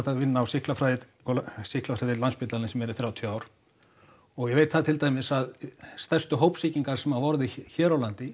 að vinna á sýklafræðideild sýklafræðideild Landspítalans í meira en þrjátíu ár og ég veit það til dæmis að stærstu hópsýkingar sem hafa orðið hér á landi